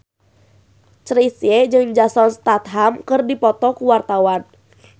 Chrisye jeung Jason Statham keur dipoto ku wartawan